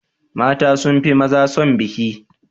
mata sunfi maza son biki